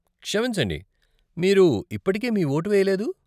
క్షమించండి, మీరు ఇప్పటికే మీ ఓటు వెయ్యలేదూ?